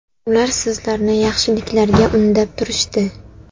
Ular sizlarni yaxshiliklarga undab turishdi.